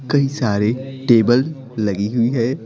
कई सारे टेबल लगी हुई है।